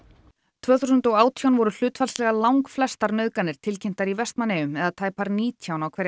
tvö þúsund og átján voru hlutfallslega langflestar nauðganir tilkynntar í Vestmannaeyjum eða tæpar nítján á hverja